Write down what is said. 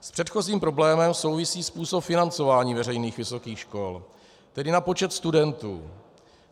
S předchozím problémem souvisí způsob financování veřejných vysokých škol, tedy na počet studentů.